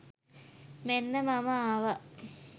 මෙන්න මම ආවා